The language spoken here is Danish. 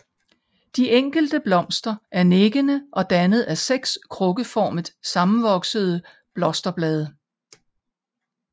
De enkelte blomster er nikkende og dannet af seks krukkeformet sammenvoksede blosterblade